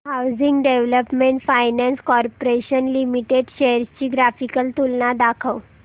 housing development finance corporation limited shares ची graphical तुलना दाखव